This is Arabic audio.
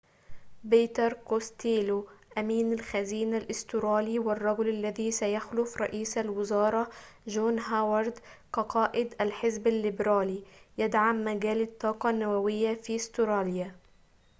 بيتر كوستيلو أمين الخزينة الأسترالي والرجل الذي سيخلُف رئيس الوزارة جون هاوارد كقائد الحزب الليبرالي يدعم مجال الطاقة النووية في أستراليا